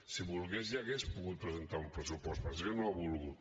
si volgués ja hauria pogut presentar un pressupost passa que no ha volgut